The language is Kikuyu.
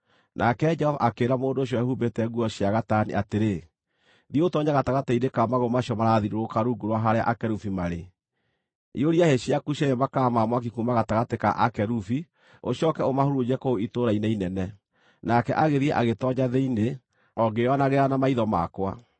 Nake Jehova akĩĩra mũndũ ũcio wehumbĩte nguo cia gatani atĩrĩ, “Thiĩ ũtoonye gatagatĩ-inĩ ka magũrũ macio marathiũrũrũka rungu rwa harĩa akerubi marĩ. Iyũria hĩ ciaku cierĩ makara ma mwaki kuuma gatagatĩ ka akerubi ũcooke ũmahurunje kũu itũũra-inĩ inene.” Nake agĩthiĩ agĩtoonya thĩinĩ, o ngĩĩonagĩra na maitho makwa.